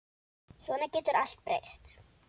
Svona getur allt breyst.